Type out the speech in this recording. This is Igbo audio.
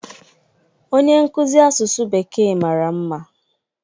onye nkuzi asụsụ bekee mara mma